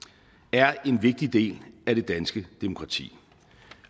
er en vigtig del af det danske demokrati